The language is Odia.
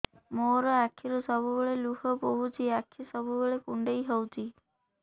ମୋର ଆଖିରୁ ସବୁବେଳେ ଲୁହ ବୋହୁଛି ଆଖି ସବୁବେଳେ କୁଣ୍ଡେଇ ହଉଚି